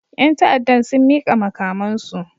Yan ta'addan sun mika makamansu